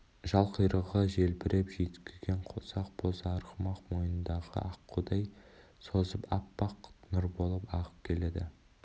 жал-құйрығы желбіреп жүйткіген қос ақ боз арғымақ мойынын аққудай созып аппақ нұр болып ағып келеді